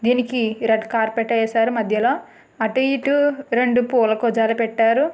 దీనికి red carpet వేశారు మధ్యలో అటు ఇటు రెండు కూజాలు పూల పెట్టారు.